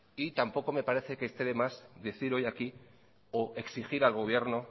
y tampoco me parece que esté de más decir hoy aquí o exigir al gobierno